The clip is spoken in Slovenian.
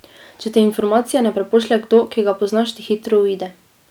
Če ti informacije ne prepošlje kdo, ki ga poznaš, ti hitro uide.